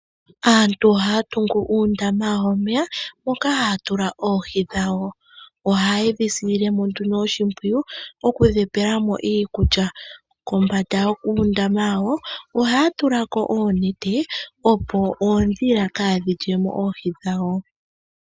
Aantu ohaya tungu oondama wawo womeya moka haya tula pohi dhawo. Ohaye di silemo nduno oshimpwiyu oku dhi pelamo iikulya. Kombanda yuundama wawo ohaya tulako oonete opo oodhila kadhi lyemo oohi dhawo.